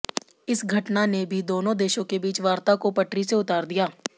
इस घटना ने भी दोनों देशों के बीच वार्ता को पटरी से उतार दिया